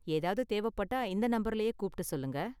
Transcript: ஏதாவது தேவைப்பட்டா இந்த நம்பர்லயே கூப்புட்டு சொல்லுங்க.